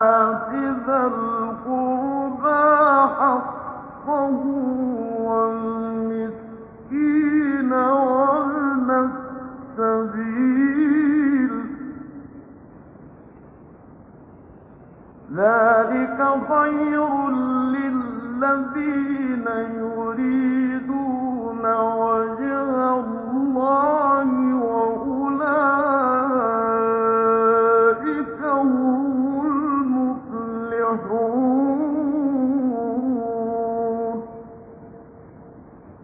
فَآتِ ذَا الْقُرْبَىٰ حَقَّهُ وَالْمِسْكِينَ وَابْنَ السَّبِيلِ ۚ ذَٰلِكَ خَيْرٌ لِّلَّذِينَ يُرِيدُونَ وَجْهَ اللَّهِ ۖ وَأُولَٰئِكَ هُمُ الْمُفْلِحُونَ